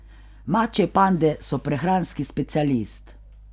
Mačje pande so prehranski specialist.